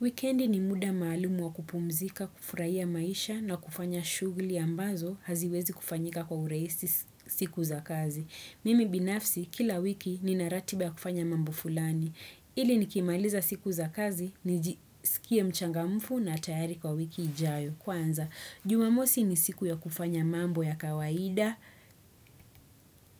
Weekendi ni muda maalumu wa kupumzika, kufuraiya maisha na kufanya shugli ambazo haziwezi kufanyika kwa uraisi siku za kazi. Mimi binafsi, kila wiki nina ratiba ya kufanya mambo fulani. Ili nikimaliza siku za kazi, nijisikie mchangamfu na tayari kwa wiki ijayo. Kwanza, jumamosi ni siku ya kufanya mambo ya kawaida